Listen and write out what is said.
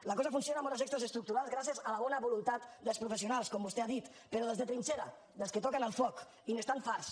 la cosa funciona amb hores extres estructurals gràcies a la bona voluntat dels professionals com vostè ha dit però dels de trinxera dels que toquen el foc i n’estan farts